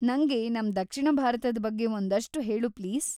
ನಂಗೆ ನಮ್ ದಕ್ಷಿಣ ಭಾರತದ‌ ಬಗ್ಗೆ ಒಂದಷ್ಟು ಹೇಳು ಪ್ಲೀಸ್.